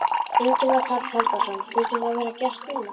Ingimar Karl Helgason: Finnst þér það vera gert núna?